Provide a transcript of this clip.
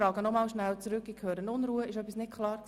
– Ist etwas unklar?